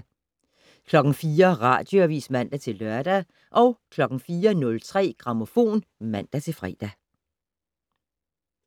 04:00: Radioavis (man-lør) 04:03: Grammofon (man-fre)